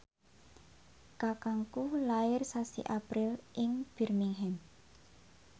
kakangku lair sasi April ing Birmingham